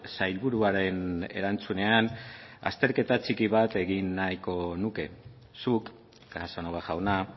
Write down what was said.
sailburuaren erantzunean azterketa txiki bat egin nahiko nuke zuk casanova jauna